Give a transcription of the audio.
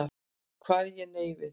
Kvað ég nei við.